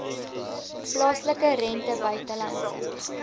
plaaslike rente buitelandse